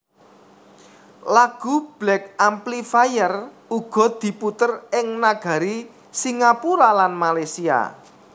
Lagu Black Amplifier uga diputèr ing nagari Singapura lan Malaysia